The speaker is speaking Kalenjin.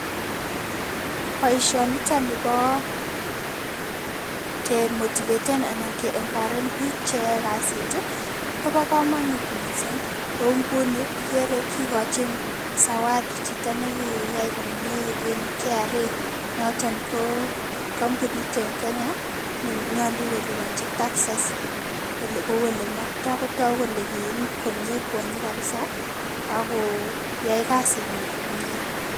Boishoniton nibo kemotiveten anan ke empoawaren biik cheyoe kasit kobo komonut mising, kouu ng'uni ikere kikochin zawadi chito nekiyai komnye en KRA noton ko kombunit en Kenya nenyolu kelibonchi taxes kouu elemokto kotokuu kolee kirib komie kwonyi kabisaa ak koyai kasinyin komie.